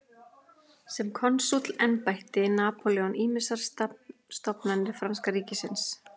Sem konsúll endurbætti Napóleon ýmsar stofnanir franska ríkisins.